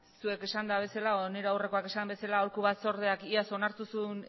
ezta zuek esan bezala edo nire aurrekoak esan duen bezala aholku batzordeak iaz onartu zuen